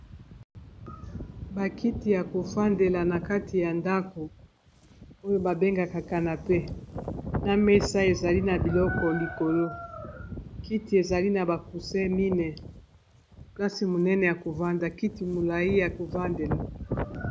Bakiti ya kofandela na kati ya ndako oyo babengaka canape na mesa ezali na biloko likolo kiti ezali na ba coussin mine plasi monene ya kovanda kiti molayi ya kovandela